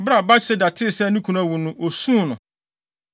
Bere a Batseba tee sɛ ne kunu awu no, osuu no.